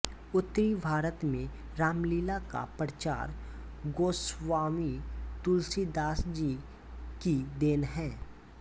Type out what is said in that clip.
उत्तरी भारत में रामलीला का प्रचार गोस्वामी तुलसीदास जी की देन है